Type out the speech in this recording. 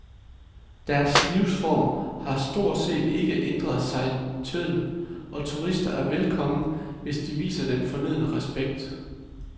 Deres livsform har stort set ikke ændret sig en tøddel, og turister er velkomne, hvis de viser den fornødne respekt.